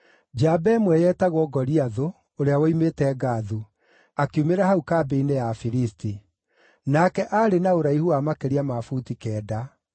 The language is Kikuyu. Njamba ĩmwe yetagwo Goliathũ, ũrĩa woimĩte Gathu, akiumĩra hau kambĩ-inĩ ya Afilisti. Nake aarĩ na ũraihu wa makĩria ma buti kenda.